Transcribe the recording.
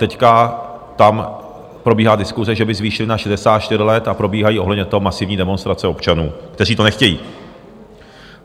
Teď tam probíhá diskuse, že by zvýšili na 64 let, a probíhají ohledně toho masivní demonstrace občanů, kteří to nechtějí.